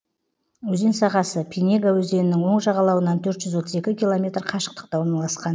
өзен сағасы пинега өзенінің оң жағалауынан төрт жүз отыз екі километр қашықтықта орналасқан